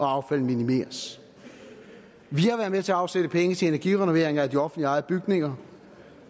affald minimeres vi har været med til at afsætte penge til energirenoveringer af de offentligt ejede bygninger